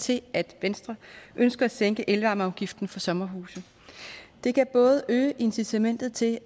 til at venstre ønsker at sænke elvarmeafgiften for sommerhuse det kan både øge incitamentet til at